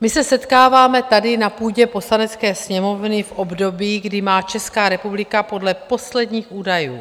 My se setkáváme tady na půdě Poslanecké sněmovny v období, kdy má Česká republika podle posledních údajů